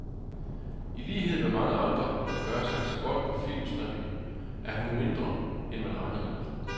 I lighed med mange andre, der gør sig så godt på filmstrimlen, er hun mindre, end man regner med.